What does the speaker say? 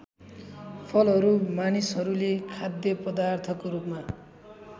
फलहरू मानिसहरूले खाद्यपदार्थको रूपमा